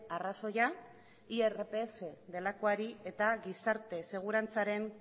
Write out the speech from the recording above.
arrazoia irpf delakoari eta gizarte segurantzaren